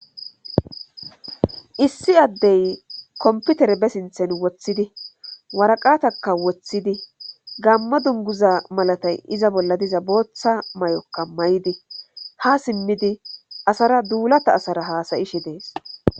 Issi addey komputere be sinthen woththidi waraqatakka woththidi gammo dunguza malatay iza bolla diza booththa may7okka may7idi ha simmidi asara duulata asara haasayishe dees.